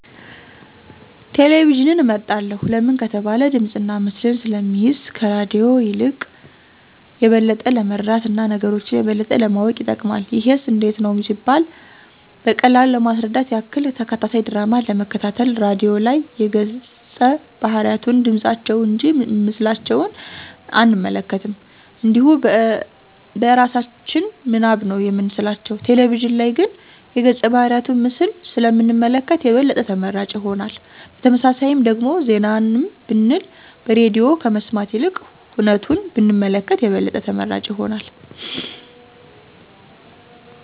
ቴሌቪዥንን እመርጣለሁ ለምን ከተባለ ድምፅና ምስልን ስለሚይዝ ከራድዮ የልቅ የበለጠ ለመረዳት እና ነገሮች የበለጠ ለማወቅ ይጠቅማል። ይሄስ እንዴት ነው ቢባል በቀላሉ ለማስረዳት ያክል፦ ተከታታይ ድራማን ለመከታተል ራድዮ ላይ የገፀ ባህርያቱን ድምፃቸውን እንጂ ምስላቸውን አንመለከትም እንዲሁ በእራሳችን ምናብ ነው የምንስላቸው፤ ቴሌቪዥን ላይ ግን የገፀ ባህርያቱን ምስል ስለ ምንመለከት የበለጠ ተመራጭ ይሆናል። በተመሳሳይም ደግሞ ዜናንም ብንል በሬድዮ ከመስማት ይልቅ ሁነቱን ብንመለከት የበለጠ ተመራጭ ይሆናል።